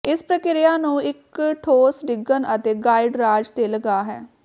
ਇਸ ਪ੍ਰਕਿਰਿਆ ਨੂੰ ਇੱਕ ਠੋਸ ਡਿੱਗਣ ਅਤੇ ਗਾਈਡ ਰਾਜ ਦੇ ਲਗਾ ਹੈ